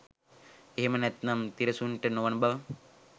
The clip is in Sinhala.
එහෙම නැතිනම් තිරසනුන්ට නොවන බව.